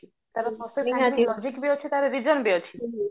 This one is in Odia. ତାର logic ବି ଅଛି ତାର reason ବି ଅଛି